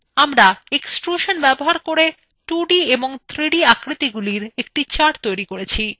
আমরা extrusion ব্যবহার করে 2d এবং 3d আকৃতিগুলির একটি chart তৈরী করেছি